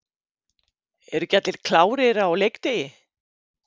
Eru ekki allir klárir á leikdegi?